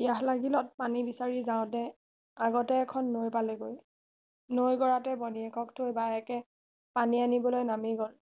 পিয়াহ লাগিলত পানী বিচাৰি যাওতে আগতে এখন নৈ পালেগৈ নৈ গৰাতে ভনীয়েকক থৈ বায়েকে পানী আনিবলৈ নামি গল